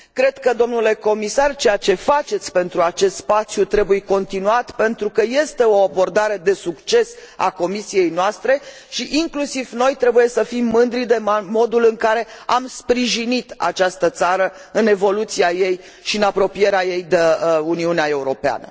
Cred că, domnule comisar, ceea ce faceți pentru acest spațiu trebuie continuat, pentru că este o abordare de succes a Comisiei noastre, și inclusiv noi trebuie să fim mândri de modul în care am sprijinit această țară în evoluția ei și în apropierea ei de Uniunea Europeană.